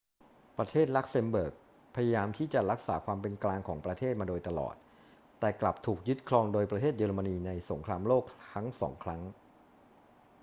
ประเทศลักเซมเบิร์กพยายามที่จะรักษาความเป็นกลางของประเทศมาโดยตลอด แต่กลับถูกยึดครองโดยประเทศเยอรมนีในสงครามโลกทั้งสองครั้ง